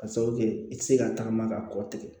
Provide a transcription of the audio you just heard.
Ka sababu kɛ i tɛ se ka tagama ka kɔ tigɛ